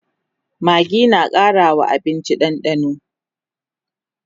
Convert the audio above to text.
maggi na Karawa abinci dandano